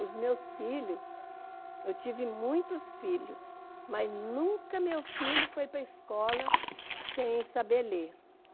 Os meus filhos, eu tive muitos filhos, mas nunca meu filho foi para escola sem saber ler.